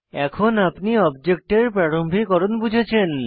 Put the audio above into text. এখন আপনি অবজেক্ট প্রারম্ভিকরণ বুঝেছেন